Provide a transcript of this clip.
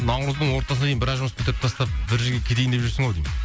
наурыздың ортасына дейін біраз жұмыс бітіріп тастап бір жерге кетейін деп жүрсің ау деймін